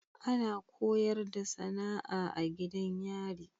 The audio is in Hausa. Ana koyarda SAnaa a gidan yari